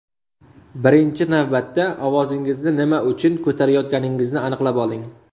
Birinchi navbatda ovozingizni nima uchun ko‘tarayotganingizni aniqlab oling.